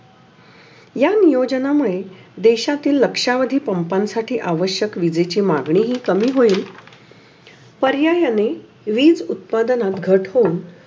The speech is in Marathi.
या नियोजन मुळे देशातील लक्ष्यामधी पम्पम साठी अवश्यक निवेची मागणी हि कमी होइल. पर्यायाने विज उत्पादनात घट होऊन.